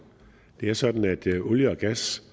det er sådan at olie og gas